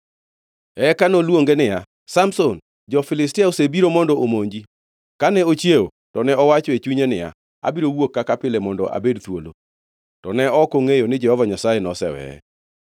Eka noluonge niya, “Samson, jo-Filistia osebiro mondo omonji!” Kane ochiewo to ne owacho e chunye niya, “Abiro wuok kaka pile mondo abed thuolo.” To ne ok ongʼeyo ni Jehova Nyasaye noseweye.